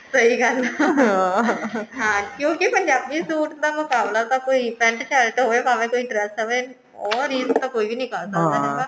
ਸਹੀ ਗੱਲ ਹੈ ਕਿਉਂਕਿ ਫੇਰ ਪੰਜਾਬੀ suit ਦਾ ਮੁਕਾਬਲਾ ਤਾਂ ਕੋਈ pent shirt ਹੋਵੇ ਭਾਵੇਂ ਕੋਈ dress ਹੋਵੇ ਉਹ ਰੀਸ ਤਾਂ ਕੋਈ ਵੀ ਨੀ ਕਰ ਸਕਦਾ ਹੈਗਾ